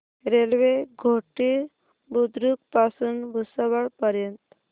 railway Ghoti Budruk पासून भुसावळ पर्यंत